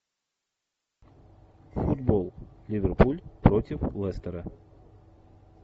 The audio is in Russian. футбол ливерпуль против лестера